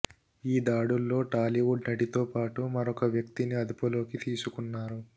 ఈ దాడుల్లో టాలీవుడ్ నటితో పాటు మరొక వ్యక్తిని అదుపులోకి తీసుకున్నారు